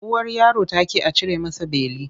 Uwar yaron ta ƙi a cire masa beli.